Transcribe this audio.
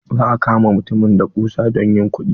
Za a kama mutumin da kusa don yin kuɗi.